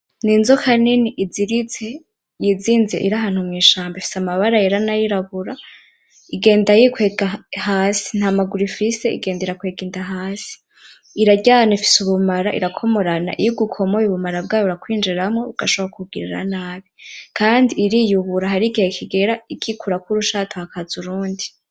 N'inzoka nini iziritse, yizinze iri ahantu mwishamba. Ifise amabara yera, nayirabura. Igenda irikwega hasi, ntamaguru ifise, igenda irakwega inda hasi. Iraryana ifise ubumara. Irakomorana, iyo igukomoye ubumara bwayo burakwinjiramwo bugashobora kukugirira nabi. Kandi iriyubura, hari igihe kigera ikikurako urushato hakaza urundi.